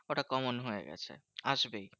ওটা common হয়ে গেছে আসবেই।